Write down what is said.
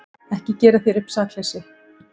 Ekki gera þér upp sakleysi.